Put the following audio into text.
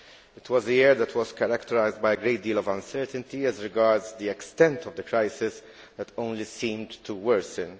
It was the year that was characterised by a great deal of uncertainty as regards the extent of the crisis, which only seemed to worsen.